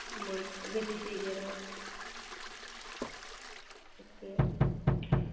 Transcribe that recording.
નહિ વેજીટેરી આવે ઓકે